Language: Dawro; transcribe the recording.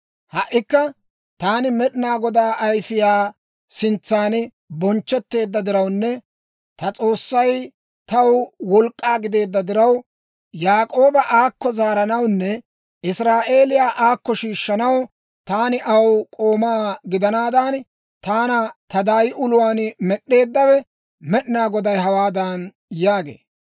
Ha"ikka, taani Med'inaa Godaa ayfiyaa sintsan bonchchetteedda dirawunne ta S'oossay taw wolk'k'aa gideedda diraw, Yaak'ooba aakko zaaranawunne Israa'eeliyaa aakko shiishshanaw, taani aw k'oomaa gidanaadan, taana ta daay uluwaan med'eeddawe Med'inaa Goday hawaadan yaagee;